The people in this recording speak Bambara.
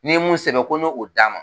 N'i ye mun sɛbɛn ko ne k'o d'a ma.